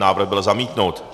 Návrh byl zamítnut.